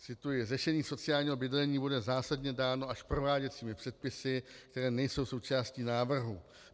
Cituji: Řešení sociálního bydlení bude zásadně dáno až prováděcími předpisy, které nejsou součástí návrhu.